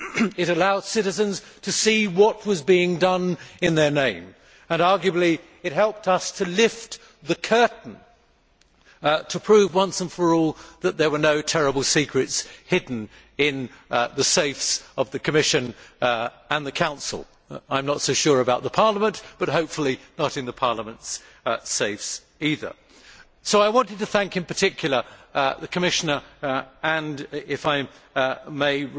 It allowed citizens to see what was being done in their name and, arguably, it helped us to lift the curtain and to prove once and for all that there were no terrible secrets hidden in the safes of the Commission or the Council I am not so sure about Parliament, but hopefully not in Parliament's safes either! I want to thank in particular the Commissioner and, if I may,